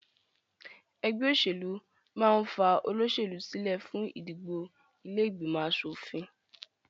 Ẹgbẹ́ òṣèlú máà ń ní fa olóṣèlú sílẹ fún ìdìbò ilé ìgbìmọ̀ aṣòfin